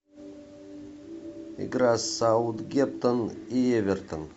игра саутгемптон и эвертон